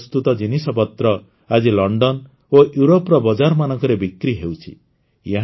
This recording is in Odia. ତାଙ୍କ ପ୍ରସ୍ତୁତ ଜିନିଷପତ୍ର ଆଜି ଲଣ୍ଡନ ଓ ଇଉରୋପର ବଜାରମାନଙ୍କରେ ବିକ୍ରି ହେଉଛି